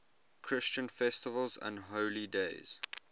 christian festivals and holy days